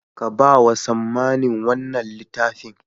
Ka ba wa Sammani wanna littafin.